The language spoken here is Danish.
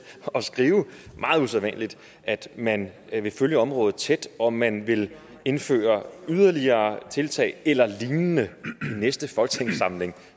at skrive meget usædvanligt at man vil følge området tæt og at man vil indføre yderligere tiltag eller lignende i næste folketingssamling